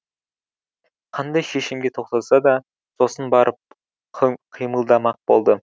қандай шешімге тоқтаса да сосын барып қимылдамақ болды